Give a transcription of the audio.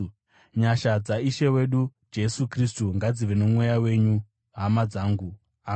Nyasha dzaIshe wedu Jesu Kristu ngadzive nomweya wenyu, hama dzangu. Ameni.